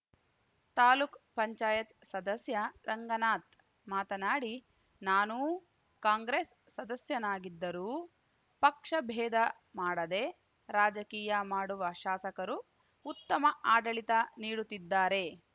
ತಾಲೂಕುಪಂಚಾಯತ್ಸದಸ್ಯ ರಂಗನಾಥ್ ಮಾತನಾಡಿ ನಾನೂ ಕಾಂಗ್ರೆಸ್ ಸದಸ್ಯನಾಗಿದ್ದರೂ ಪಕ್ಷ ಭೇದ ಮಾಡದೆ ರಾಜಕೀಯ ಮಾಡುವ ಶಾಸಕರು ಉತ್ತಮ ಆಡಳಿತ ನೀಡುತ್ತಿದ್ದಾರೆ